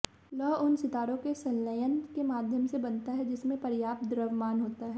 लौह उन सितारों में संलयन के माध्यम से बनता है जिनमें पर्याप्त द्रव्यमान होता है